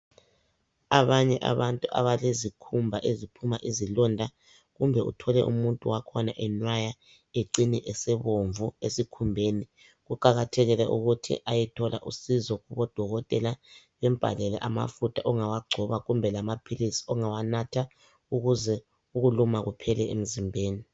Abanye abantu abalezikhumba eziphuma izilonda, kumbe uthole umuntu wakhona enwaya ecine esebomvu esikhumbeni, kuqakathekile ukuthi ayethola usizo kubodokotela, bembhalele amafutha ongawagcoba kumbe lamaphilisi ongawanatha ukuze ukuluma kuphela emzimbeni.